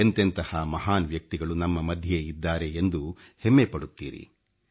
ಎಂತೆಂಥಹ ಮಹಾನ್ ವ್ಯಕ್ತಿಗಳು ನಮ್ಮ ಮಧ್ಯೆ ಇದ್ದಾರೆ ಎಂದು ಹೆಮ್ಮೆ ಪಡುತ್ತೀರಿ